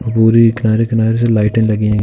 के किनारे-किनारे से लाइट लगी हैं।